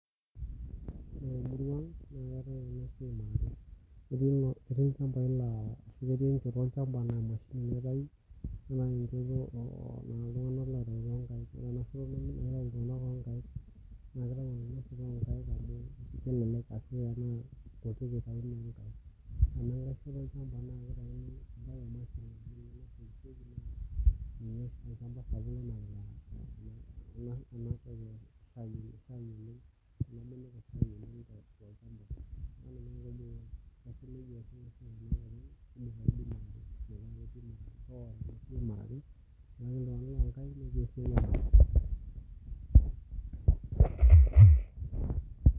Ore temurua ang naa keetae entoki naijio ena keetae njooyo olchambai natii irpaek neeku keuni nemitoki anyikaki